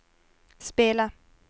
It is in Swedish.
spela